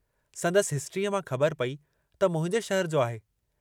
संदसि हिस्ट्रीअ मां ख़बर पेई त मुंहिंजे शहर जो आहे।